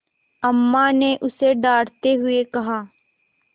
अम्मा ने उसे डाँटते हुए कहा